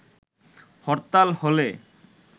হরতাল হলে